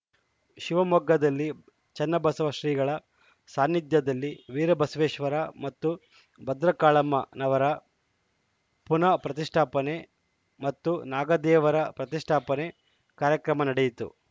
ಶಿವಮೊಗ್ಗದಲ್ಲಿ ಚನ್ನಬಸವ ಶ್ರೀಗಳ ಸಾನ್ನಿಧ್ಯದಲ್ಲಿ ವೀರ ಬಸವೆಶ್ವರ ಮತ್ತು ಭದ್ರಕಾಳಮ್ಮ ನವರ ಪುನಃ ಪ್ರತಿಷ್ಠಾಪನೆ ಮತ್ತು ನಾಗದೆವರ ಪ್ರತಿಷ್ಠಾಪನೆ ಕಾರ್ಯಕ್ರಮ ನಡೆಯಿತು